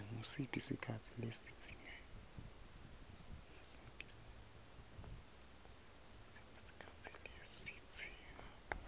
ngusiphi sikhatsi lesidzingeka